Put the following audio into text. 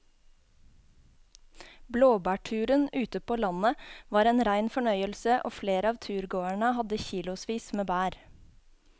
Blåbærturen ute på landet var en rein fornøyelse og flere av turgåerene hadde kilosvis med bær.